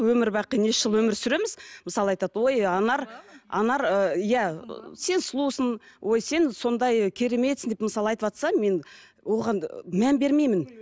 өмір бақи неше жыл өмір сүреміз мысалы айтады ой анар анар ы иә сен сұлусың ой сен сондай кереметсің деп мысалы айтыватса мен оған мән бермеймін